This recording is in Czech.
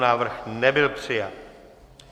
Návrh nebyl přijat.